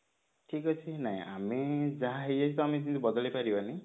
ଠିକ ଅଛି ନାଇଁ ଆମେ ଯାହା ହେଇ ଯାଇଛି ତ ଆମେ ବଦଳେଇ ପାରିବାନି